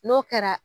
N'o kɛra